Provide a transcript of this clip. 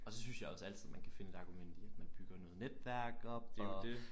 Og så synes jeg også altid man kan finde et argument i at man bygger noget netværk op og